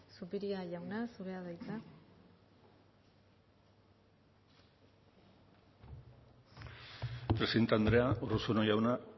zupiria jauna zurea da hitza presidente andrea urruzuno jauna